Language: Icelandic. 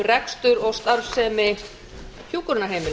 rekstur og starfsemi hjúkrunarheimila